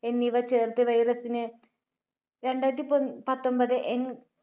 എന്നിവ ചേർത്ത് virus ന് രണ്ടായിരത്തിപ~പത്തൊൻപത് N